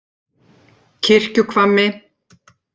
Kirkjuhvammi